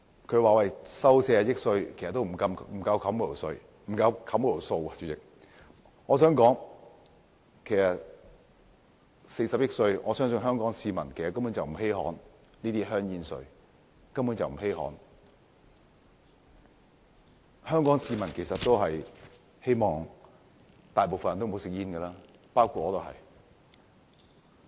他們說收取40億元煙草稅並不足以抵銷那筆數目，我相信香港市民根本不稀罕40億元的煙草稅，香港市民其實希望大部分人不吸煙，包括我在內。